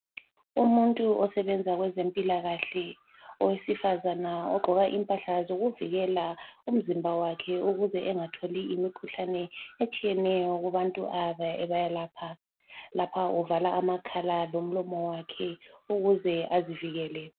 Umuntu osebenza kwezempilakahle owesifazana ogqoka impahla zokuvikela umzimba wakhe ukuze engatholi imikhuhlane etshiyeneyo kubantu ayabe ebalapha. Lapha uvala amakhala lomlomo wakhe ukuze azivikele.